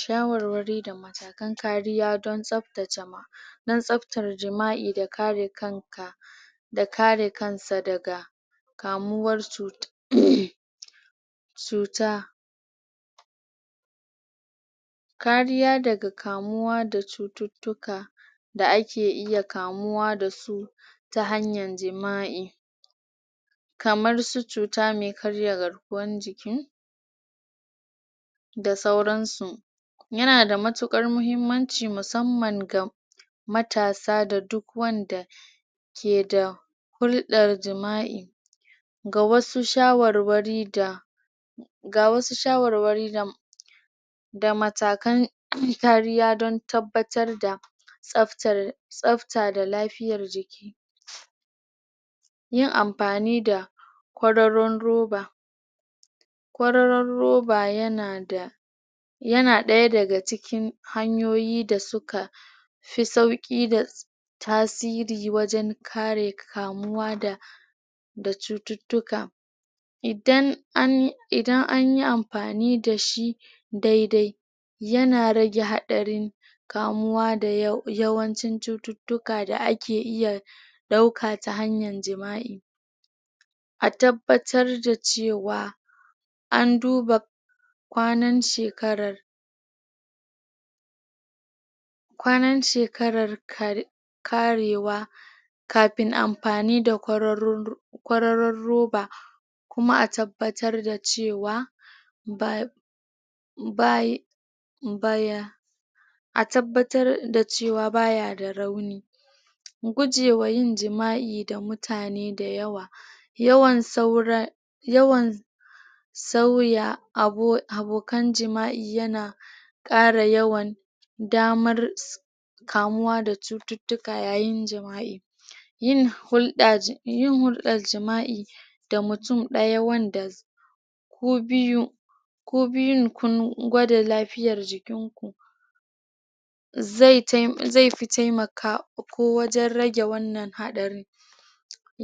Shawarwari da matakan kariya don tsaptace don tsaptar jima'i da kare kanka da kare kansa daga kamuwar um cuta kariya daga kamuwa da cututtuka da ake iya kamuwa da su ta hanyan jima'i kamar su cuta mai karya garkuwan jiki da sauransu yana da mutuƙar muhimmanci musamman ga matasa da duk wanda ke da hulɗar jima'i ga wasu shawarwari da ga wasu shawarwari da matakan kariya don tabbatar da tsafta da lafiyar jiki yin ampani da kwararrun roba kwararar roba yana da, yana ɗaya daga cikin hanyoyi da suka fi sauƙi da tasiri wajen kare kamuwa da da cututtuka, idan an yi ampani da shi dai dai yana rage haɗarin kamuwa da yawancin cututtuka da ake iya ɗauka ta hanyar jima'i a tabbatar da cewa an duba kwanar shekarar kwanar shekarar karewa kapin ampani da kwararrun roba kuma a tabbatar da cewa um a tabbatar da cewa ba ya da rauni gujewan yin jima'i da mutane da yawa yawan saura, yawan sauya abokan jima'i yana ƙara yawan damar kamuwa da cututtuka yayin jima'i yin hulɗar jima'i da mutum ɗaya wanda ku biyu ku biyun kun gwada lapiyar jikin ku zai pi taimakawa ko wajen rage wannan haɗari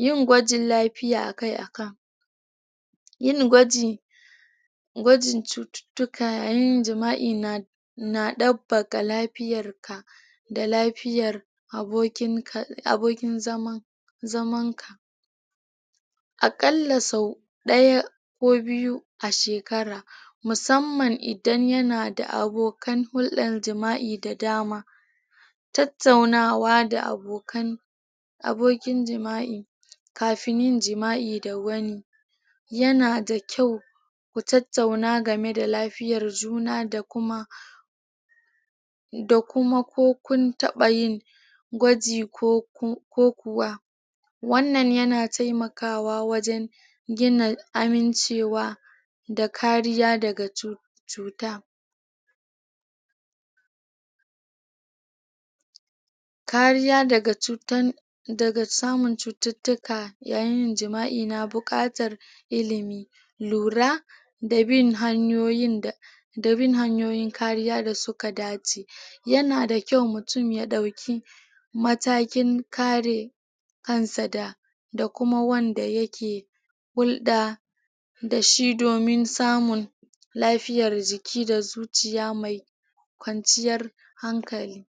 yin gwajin lapiya a kai a kan yingwaji gwajin cututtuka yayin jima'i na ɗapbaga lapiyar ka da lapiyar abokin zaman ka a ƙalla so ɗaya ko biyu a shekara, musamman idan yana da abokan hulɗan jima'i da dama tattaunawa da abokan...abokin jima'i kafin yin jima'i da wani yana da kyau ku tattauna game da lafiyar juna da kuma da kuma ko kun taɓa yin gwaji ko kuwa wannan yana taimakawa wajen gina amincewa da kariya daga cuta kariya daga cutan...daga samun cututtuka yayin yin jima'i na buƙatar ilimi lura, da bin hanyoyin kariya da suka dace yana da kyau mutum ya ɗaki matakin kare kansa da kuma wanda yake hulɗa da shi domin samun lafiyar jiki da zuciya mai kwanciyar hankali.